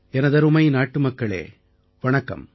எனதருமை நாட்டு மக்களே வணக்கம்